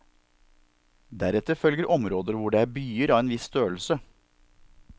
Deretter følger områder hvor det er byer av en viss størrelse.